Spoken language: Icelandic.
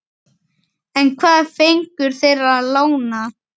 En hvað fengu þeir lánað?